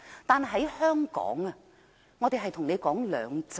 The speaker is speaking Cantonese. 但在香港，我們談的是"兩制"。